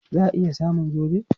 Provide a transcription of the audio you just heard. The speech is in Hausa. Za a iya samun zobe?